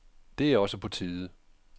Det er også på tide.